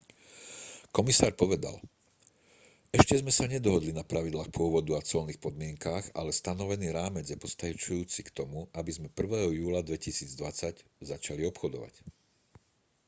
komisár povedal ešte sme sa nedohodli na pravidlách pôvodu a colných podmienkach ale stanovený rámec je postačujúci k tomu aby sme 1. júla 2020 začali obchodovať